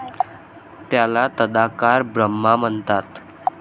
त्याला तदाकार ब्रह्मा म्हणतात.